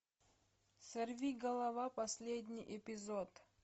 сорвиголова последний эпизод